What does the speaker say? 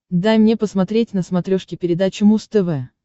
дай мне посмотреть на смотрешке передачу муз тв